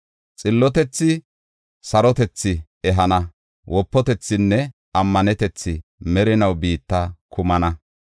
Xillotethi sarotethi ehana, wopatethinne ammanetethi merinaw biitta kumana.